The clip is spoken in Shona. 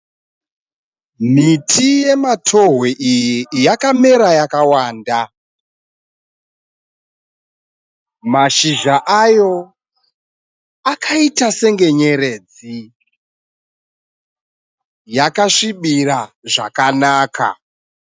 Miti yematohwe iyi yakamera yakawanda. Mashizha ayo akaita senge nyeredzi. Yakasvibira zvakanaka.